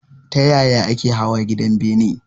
Ta yaya ake hawa gidan bene?